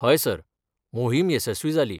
हय सर, मोहीम येशस्वी जाली.